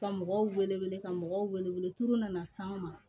Ka mɔgɔw wele ka mɔgɔw wele tulu nana s'anw ma